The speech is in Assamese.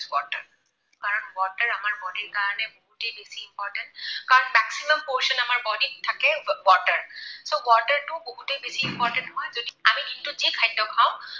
Water কাৰণ water আমাৰ body ৰ কাৰণে বহুতেই বেছি important কাৰণ maximum portion আমাৰ body ত থাকে water. so water টো বহুতেই বেছি important হয়। যদি আমি দিনটোত যি খাদ্য খাওঁ